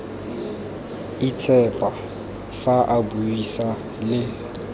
itshepa fa a buisa le